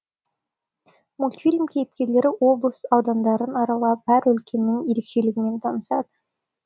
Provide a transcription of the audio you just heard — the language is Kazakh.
мультфильм кейіпкерлері облыс аудандарын аралап әр өлкенің ерекшелігімен танысады